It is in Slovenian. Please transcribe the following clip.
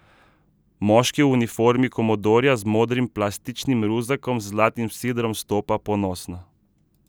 Moški v uniformi komodorja z modrim plastičnim ruzakom z zlatim sidrom stopa ponosno.